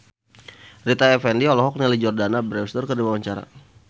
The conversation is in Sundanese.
Rita Effendy olohok ningali Jordana Brewster keur diwawancara